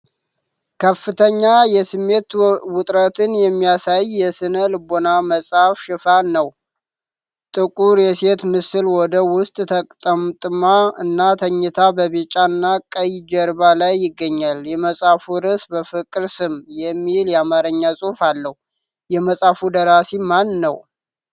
ከፍተኛ የስሜት ውጥረትን የሚያሳይ የስነ ልቦና መጽሐፍ ሽፋን ነው። ጥቁር የሴት ምስል ወደ ውስጥ ተጠምጥማ እና ተኝታ በቢጫና ቀይ ጀርባ ላይ ይገኛል። የመጽሐፉ ርዕስ "በፍቅር ስም" የሚል የአማርኛ ጽሑፍ አለው። የመጽሐፉ ደራሲ ማን ነው?